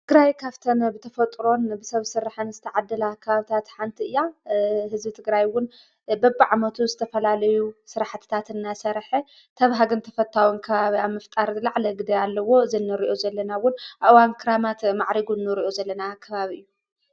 ትግራይ ካፍተን ብተፈጥሮን ብሰብ ሰራሕን ዝተዓድላ ከባብታት ሓንቲ እያ ህዝቢ ትግራይውን በብዓመቱ ዝተፈላልዩ ስራሕትታትና ሰርሐ ተብሃግን ተፈታውን ከባቢ ንምፍጣር ዝለዓለ ግደ ኣለዎ ዘነርእዮ ዘለናውን ኣዋንክራማት ማዕሪጉን ኖርእዩ ዘለና ኣከባብ እዩ።